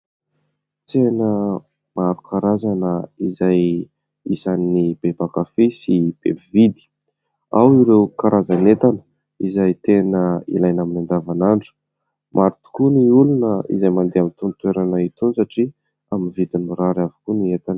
Tsena maro karazana izay isany be mpankafy sy be mpividy. Ao ireo karazana entana izay tena ilaina amin'ny andavan'andro. Maro tokoa ny olona izay mandeha amin'itony toerana itony satria amin'ny vidiny mirary avokoa ny entana.